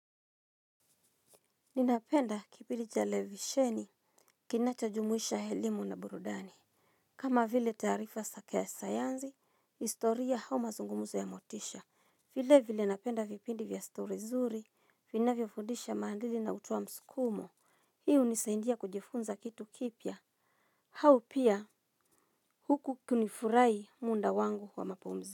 Ninapenda kipidi chatelevisheni kinacho jumuisha elimu na burudani. Kama vile taarifa saka yasayanzi, historia au mazungumuzo ya motisha. Vile vile napenda vipindi vya story nzuri vinavyofundisha maadali na hutoa msukumo. Hi hnisaindia kujifunza kitu kipya. Hau pia huku kunifurahi munda wangu wa mapumzi.